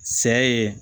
Sɛ ye